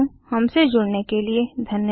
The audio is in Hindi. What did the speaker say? हमसे जुड़ने के लिए धन्यवाद